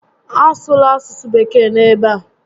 A sụla asụsụ Bekee n'ebe a!